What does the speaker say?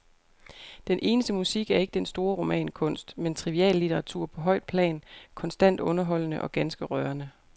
Den eneste musik er ikke den store romankunst, men triviallitteratur på højt plan, konstant underholdende og ganske rørende.